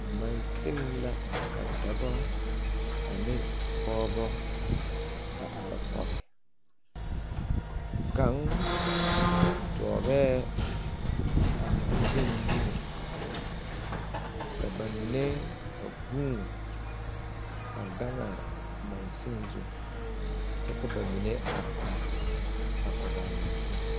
Mansen la ka dɔbɔ ane pɔɔbɔ a are kɔge kaŋ dɔɔgɛɛ a mansen niŋe ka ba mine a guun a gaŋaa mansen zu kyɛ ka ba mine are are a kɔg aa mansen.